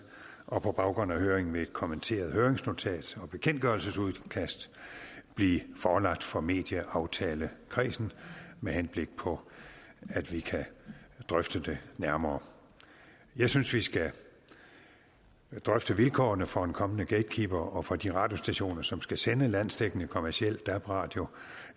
og på baggrund af høringen vil et kommenteret høringsnotat og bekendtgørelsesudkastet blive forelagt for medieaftalekredsen med henblik på at vi kan drøfte det nærmere jeg synes vi skal drøfte vilkårene for en kommende gatekeeper og for de radiostationer som skal sende landsdækkende kommerciel dab radio